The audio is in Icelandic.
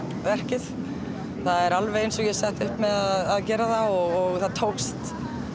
verkið það er alveg eins og ég setti upp með að gera það og það tókst